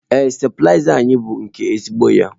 Ee stabilizer anyị bụ nke ezigbo ya.